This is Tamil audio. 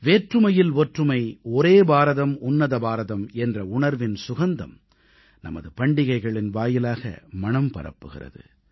வேற்றுமையில் ஒற்றுமை ஒரே பாரதம் உன்னத பாரதம் என்ற உணர்வின் சுகந்தம் நமது பண்டிகைகளின் வாயிலாக மணம் பரப்புகிறது